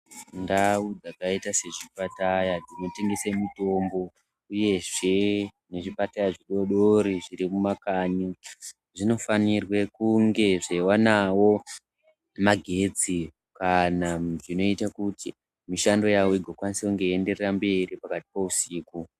Ndau dzakaite se chipatara chino tengese mutombo uyezve ne zvipatara zvidodori zviri mu makanyi zvino fanirwe kunge zvei wanawo magetsi kana zvino ite kuti mishando yawo igo kwanise kunge yei enderere mberi pakati pe usiku.